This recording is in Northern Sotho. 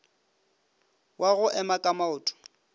wa go ema ka maoto